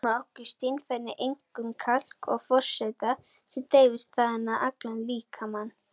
Bein geyma nokkur steinefni, einkum kalk og fosfat, sem dreifast þaðan um allan líkamann.